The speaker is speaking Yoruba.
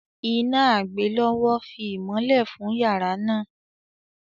Iná àgbélọ́wọ́ fi ìmolẹ̀ fùn yará náà